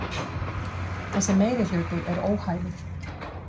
Þessi meirihluti er óhæfur